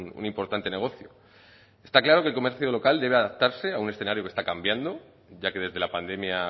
un importante negocio está claro que el comercio local debe adaptarse a un escenario que está cambiando ya que desde la pandemia